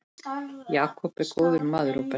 Jakob er góður maður, Róbert.